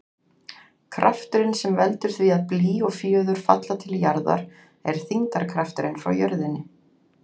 Krafturinn sem veldur því að blý og fjöður falla til jarðar er þyngdarkrafturinn frá jörðinni.